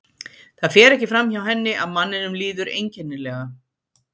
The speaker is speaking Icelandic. Það fer ekki fram hjá henni að manninum líður einkenni- lega.